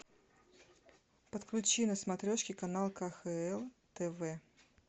подключи на смотрешке канал кхл тв